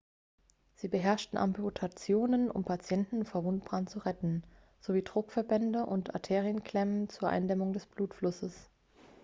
sie beherrschten amputationen um patienten vor wundbrand zu retten sowie druckverbände und arterienklemmen zur eindämmung des blutflusses